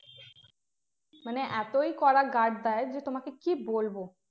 মানে এতই কড়া guard দেয় যে তোমাকে কি বলবো